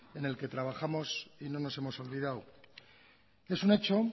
en el que trabajamos y no nos hemos olvidado es un hecho